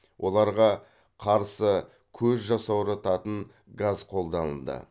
оларға қарсы көз жасаурататын газ қолданылды